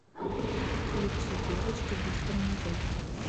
включи девочка без тормозов